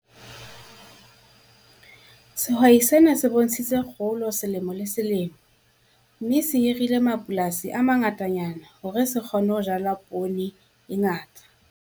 Sehwai sena se bontshitse kgolo selemo le selemo, mme se hirile mapolasi a mangatanyana hore se kgone ho jala poone e ngata.